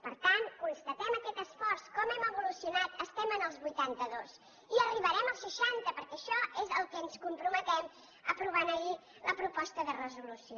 per tant constatem aquest esforç com hem evolucionat estem en els vuitanta dos i arribarem als seixanta perquè a això és al que ens comprometem aprovant ahir la proposta de resolució